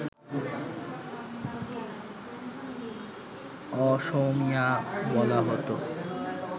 অসমীয়া বলা হত